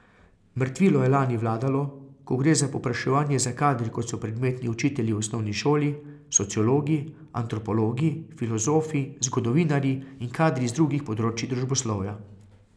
Mrtvilo je lani vladalo, ko gre za povpraševanje za kadri kot so predmetni učitelji v osnovni šoli, sociologi, antropologi, filozofi, zgodovinarji in kadri iz drugih področij družboslovja.